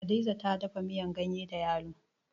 Hadiza ta dafa miyan ganye da yalo.